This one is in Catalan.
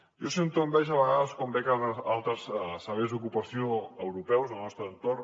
jo sento enveja a vegades quan veig altres serveis d’ocupació europeus del nostre entorn